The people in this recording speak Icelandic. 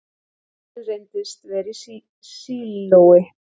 Eldurinn reyndist vera í sílói